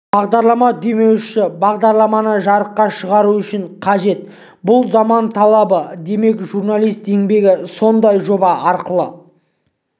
бағдарлама демеушісі бағдарламаны жарыққа шығару үшін қажет бұл заман талабы демек журналист еңбегі осындай жоба арқылы